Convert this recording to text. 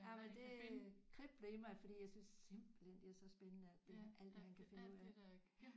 Jamen det kribler i mig fordi jeg synes simpelthen det er så spændende alt det alt man kan finde ud af